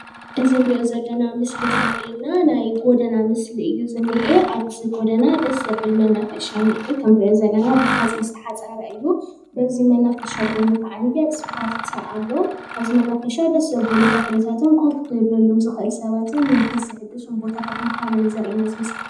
እዚ ንሪኦ ዘለና ምስሊ ዘሪኤና ናይ ጎደና ምስሊ እዩ እኒአ፡፡ ኣብዚ ጎደና ደስ ዘብል መናፈሻ እኒአ፡፡ እቲ ንሪኦ ዘለና ብሓፂን ዝተሓፀረ እዩ፡፡ በዚ መናፈሻ ጎኒ ኸዓንየ ኣስፓልት ኣሎ፡፡ ኣብዚ መናፈሻ ደስ ዘብሉ ተኽልታት ከፍ ክብለሎም ዝኽእል ሰባትን መንፈስ ዝሕድን ቦታታት ምዃኖም እዩ ዘሪኤና እዚ ምስሊ፡፡